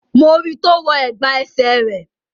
Mo ri tó wọ ẹ̀gbà ẹsẹ̀ rẹ̀